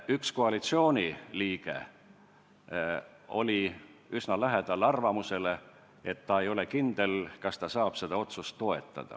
Üks koalitsiooni liige oli üsna lähedal arvamusele, et ta ei ole kindel, kas ta saab seda otsust toetada.